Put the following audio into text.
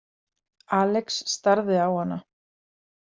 Alex starði á hana.